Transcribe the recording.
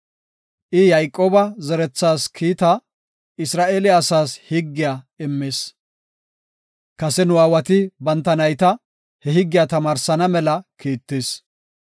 I Yayqooba zerethaas kiitaa, Isra7eele asaas higgiya immis. Kase nu aawati banta nayta he higgiya tamaarsana mela kiittis.